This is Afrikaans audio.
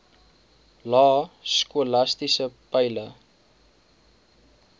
lae skolastiese peile